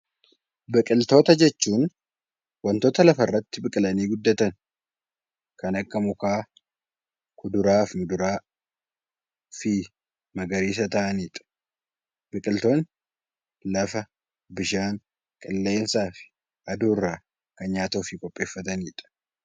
Biqiltoota jechuun wantoota lafarratti biqilanii guddataniidha. Isaanis kan akka mukaa, kuduraaf muduraafi magarsiisa taa'aniidha . Biqiltootni lafa bishaan qilleensaafi aduu irraa nyaata ofii qopheeffatanii